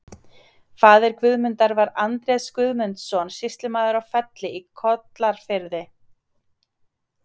Faðir Guðmundar var Andrés Guðmundsson, sýslumaður á Felli í Kollafirði.